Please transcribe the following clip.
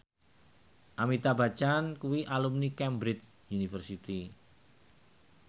Amitabh Bachchan kuwi alumni Cambridge University